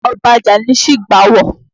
Ọba Àjàní ṣígbá wò.